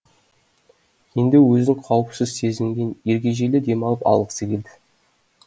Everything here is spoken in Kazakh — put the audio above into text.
енді өзін қауіпсіз сезінген ергежейлі демалып алғысы келді